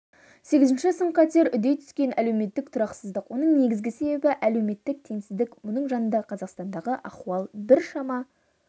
сегізінші сын-қатер үдей түскен әлеуметтік тұрақсыздық оның негізгі себебі әлеуметтік теңсіздік мұның жанында қазақстандағы ахуал біршама